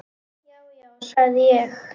Já, já, sagði ég.